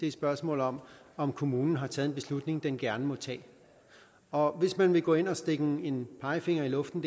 et spørgsmål om om kommunen har taget en beslutning den gerne må tage og hvis man vil gå ind og stikke en en pegefinger i luften